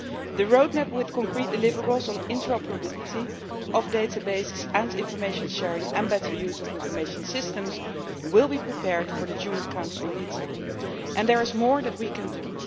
The roadmap with concrete deliverables on interoperability of databases and information sharing and better use of information systems will be prepared for the June Council meeting, and there is more that we can